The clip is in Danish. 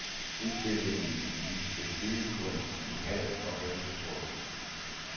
Udstillingen viste byggekunst i halm og hønsetråd.